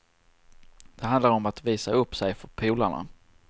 Det handlar om att visa upp sig för polarna.